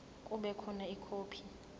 kube khona ikhophi